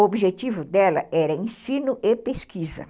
O objetivo dela era ensino e pesquisa.